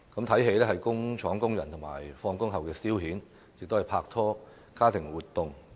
看電影是工廠工人下班後的消遣，也是拍拖和家庭活動。